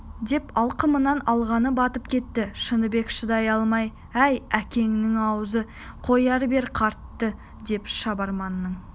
деп алқымынан алғаны батып кетті шыныбек шыдай алмай әй әкеңнің аузын қоя бер қартты деп шабарманның